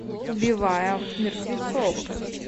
убивая мертвецов